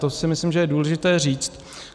To si myslím, že je důležité říct.